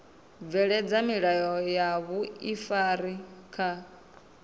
bveledza milayo ya vhuifari kha